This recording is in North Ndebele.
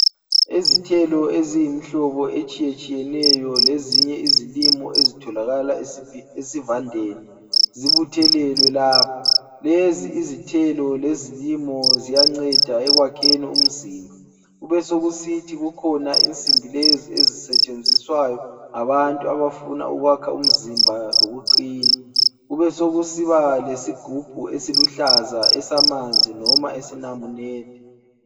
Izithelo eziyimihlobo etshiyetshiyeneyo lezinye izilimo ezitholakala esivandeni, zibuthelelwe lapha. Lezi izithelo lezilimo ziyanceda ekwakheni umzimba. Kube sokusithi kukhona insimbi lezi ezisetshenziswayo ngabantu abafuna ukwakha umzimba lokuqina. Kubesokusiba lesigubhu esiluhlaza esamanzi noma esenamunede.